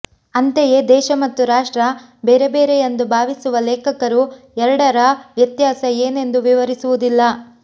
ಅಂತೆಯೇ ದೇಶ ಮತ್ತು ರಾಷ್ಟ್ರ ಬೇರೆ ಬೇರೆ ಎಂದು ಭಾವಿಸುವ ಲೇಖಕರು ಎರಡರ ವ್ಯತ್ಯಾಸ ಏನೆಂದು ವಿವರಿಸುವುದಿಲ್ಲ